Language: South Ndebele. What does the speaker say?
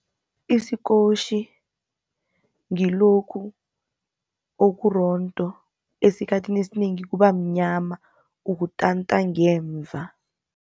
Isikotjhi ngilokhu okurondo, esikhathini esinengi kubamnyama, ukutanta ngemva.